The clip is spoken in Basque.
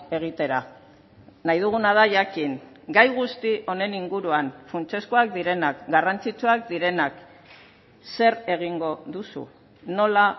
egitera nahi duguna da jakin gai guzti honen inguruan funtsezkoak direnak garrantzitsuak direnak zer egingo duzu nola